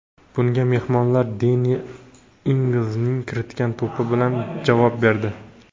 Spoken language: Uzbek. Bunga mehmonlar Denni Ingzning kiritgan to‘pi bilan javob berdi.